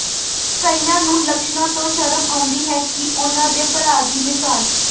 ਕਈਆਂ ਨੂੰ ਲੱਛਣਾਂ ਤੋਂ ਸ਼ਰਮ ਆਉਂਦੀ ਹੈ ਕਿ ਉਨ੍ਹਾਂ ਦੇ ਭਰਾ ਦੀ ਮਿਸਾਲ